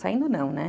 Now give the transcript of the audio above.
Saindo não, né?